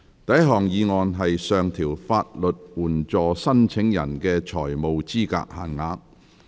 第一項議案：上調法律援助申請人的財務資格限額。